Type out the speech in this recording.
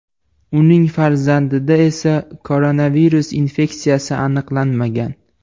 Uning farzandida esa koronavirus infeksiyasi aniqlanmagan.